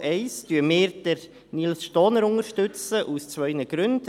Wir unterstützen Herrn Nils Stohner aus zwei Gründen.